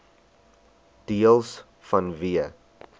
deels vanweë